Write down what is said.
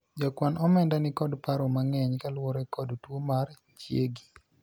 jakwan omenda nikod paro mang'eny kaluwore kod tuo mar chiegi